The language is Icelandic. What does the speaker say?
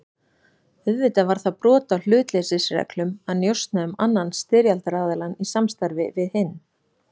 Auðvitað var það brot á hlutleysisreglum að njósna um annan styrjaldaraðiljann í samstarfi við hinn.